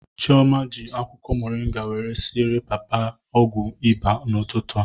Chioma ji akwụkwọ moringa wéré siere papa ọgwụ ịba n'ụtụtụ a